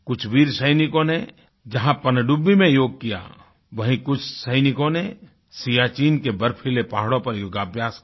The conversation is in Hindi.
कुछ वीर सैनिकों ने जहाँ पनडुब्बी में योग किया वहीं कुछ सैनिकों ने सियाचीन के बर्फीले पहाड़ों पर योगाभ्यास किया